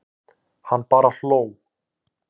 Hann bara hló.